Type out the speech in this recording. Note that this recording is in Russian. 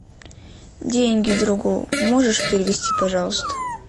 деньги другу можешь перевести пожалуйста